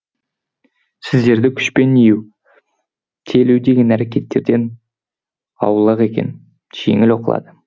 сөздерді күшпен иію телу деген әрекеттерден аулақ екен жеңіл оқылады